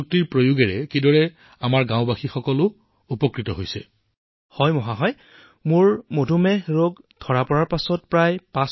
প্ৰধানমন্ত্ৰীঃ মদন মোহনজী প্ৰণাম